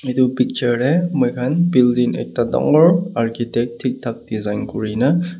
etu picture tae moi khan building ekta dangor architect thik thak design kurina.